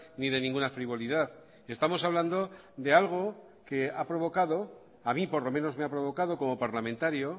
ni de ninguna frivolidad estamos hablando de algo que ha provocado a mí por lo menos me ha provocado como parlamentario